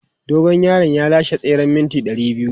Dogon yaron ya lashe tseren mita 200.